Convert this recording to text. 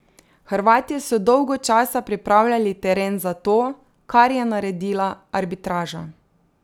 Hrvatje so dolgo časa pripravljali teren za to, kar je naredila arbitraža.